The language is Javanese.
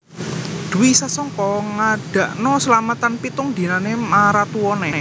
Dwi Sasongko ngadakno selametan pitung dinane maratuwane